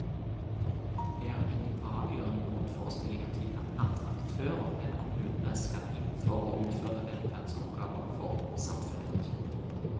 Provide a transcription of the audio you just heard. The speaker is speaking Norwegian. Jeg har ingen avgjørende motforestillinger til at andre aktører enn kommunene skal inn for å utføre velferdsoppgaver for samfunnet.